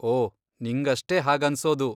ಓ, ನಿಂಗಷ್ಟೇ ಹಾಗನ್ಸೋದು!